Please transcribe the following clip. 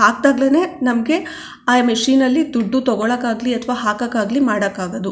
ಹಾಕದಾಗ್ಲೇನೇ ನಮ್ಗೆ ಆ ಮಷೀನ್ ಅಲ್ಲಿ ದುಡ್ಡು ತೋಕೋಳೊಗಾಗ್ಲಿ ಅಥವಾ ಹಾಕಕಾಗ್ಲಿ ಮಾಡಕ್ಕಾಗೋದು.